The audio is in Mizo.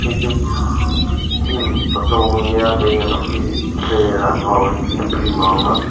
chu gym photo ania hei an office vel ang a origin gym a ang a.